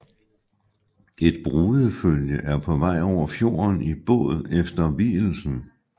Et brudefølge er på vej over fjorden i båd efter vielsen